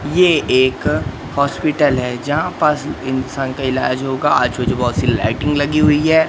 ये एक हॉस्पिटल है जहां पास इंसान का इलाज होगा आजू बाजू कई सारी लाइटिंग लगी हुई है।